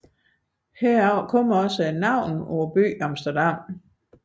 Heraf kommer også byen Amsterdams navn